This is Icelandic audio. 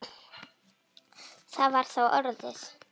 Það var þá orðið!